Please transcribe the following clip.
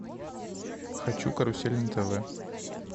хочу карусель на тв